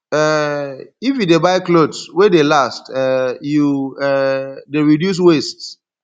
um if you dey buy clothes wey dey last um you um dey reduce waste